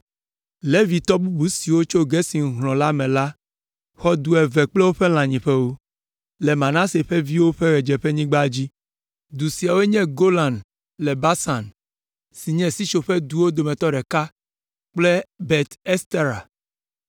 Levitɔ bubu siwo tso Gerson hlɔ̃ la me la xɔ du eve kple woƒe lãnyiƒewo: le Manase ƒe viwo ƒe ɣedzeƒenyigba dzi. Du siawoe nye Golan le Basan, si nye sitsoƒeduwo dometɔ ɖeka kple Be Estera.